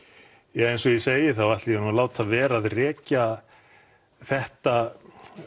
eins og ég segi ætla ég að láta vera að rekja þetta